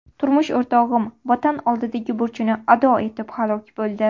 Turmush o‘rtog‘im Vatan oldidagi burchini ado etib halok bo‘ldi.